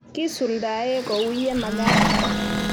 kisuldae ko u ye magat